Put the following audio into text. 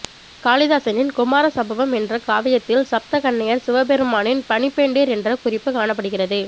காளிதாசனின் குமார சம்பவம் என்ற காவியத்தில் சப்த கன்னியர் சிவபெருமானின் பணிப்பெண்டிர் என்ற குறிப்புக் காணப்படுகின்றது